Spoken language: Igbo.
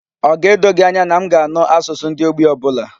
Ọ ga-edo gị anya na m ga-anụ asụsụ ndị Ogbi ọ bụla?